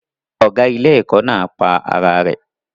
Ọ̀gá ilé-ẹ̀kọ́ náà pa ara rẹ̀